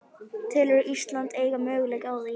Telurðu Ísland eiga möguleika á því?